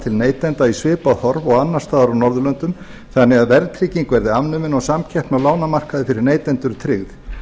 til neytenda í svipað horf og annars staðar á norðurlöndum þannig að verðtrygging verði afnumin og samkeppni á lánamarkaði fyrir neytendur tryggð